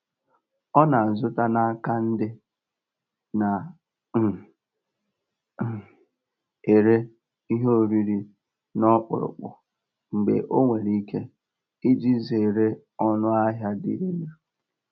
Ọ na-azụta n'aka ndị na um - um ere ihe oriri n'ọkpụrụkpụ mgbe o nwere ike, iji zere ọnụ ahịa dị elu.